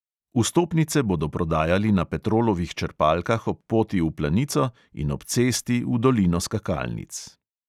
Vstopnice bodo prodajali na petrolovih črpalkah ob poti v planico in ob cesti v dolino skakalnic.